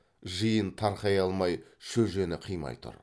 жиын тарқай алмай шөжені қимай тұр